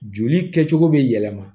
Joli kɛcogo bɛ yɛlɛma